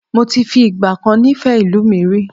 Moti fi ìgbàkan nifẹ ìlú mi rí